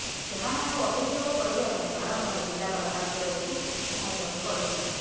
ସେମାନଙ୍କୁ ଅଭିଯୋଗ କରିବା ପାଇଁ ବାରମ୍ବାର ଜିଲାପାଳ କାର୍ଯ୍ୟାଳୟକୁ ଧାଇଁବାକୁ ପଡିବ ନାହିଁ